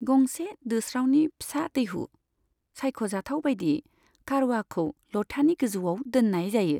गंसे दोस्रावनि फिसा दैहु, सायख' जाथाव बाइदियै कारवाखौ ल'थानि गोजौआव दोननाय जायो।